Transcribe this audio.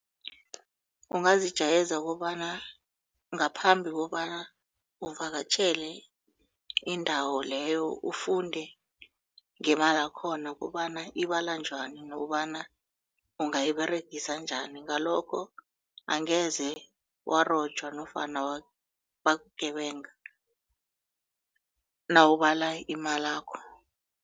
Ungazijayeza kobana ngaphambi kobana uvakatjhele indawo leyo ufunde ngemalakhona kobana ibalwa njani nokobana ungayiberegisa njani ngalokho angeze warojwa nofana bakugebanga nawubala imalakho.